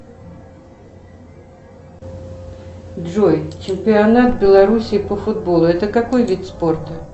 джой чемпионат белоруссии по футболу это какой вид спорта